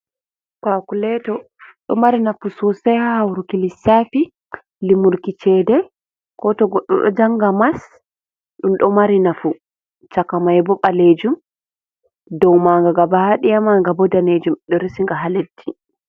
Kakuleto ɗo mari nafu sosei haa hauruki lissafi limurki chede ko to goɗɗo ɗo janga mas, ɗum ɗo mari nafu cakamai bo balejum do maaga gaba daya manga bo danejum ɗo resinga haa leddi.